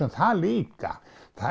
það líka